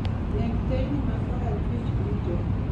Neg teyni ma korachwich duto